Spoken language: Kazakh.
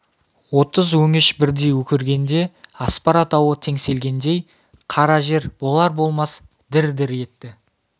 отыз өңеш бірдей өкіргенде аспара тауы теңселгендей қара жер болар-болмас дір-дір етті